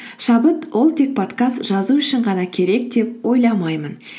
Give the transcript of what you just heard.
шабыт ол тек подкаст жазу үшін ғана керек деп ойламаймын